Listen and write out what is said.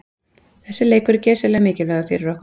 Þessi leikur er geysilega mikilvægur fyrir okkur.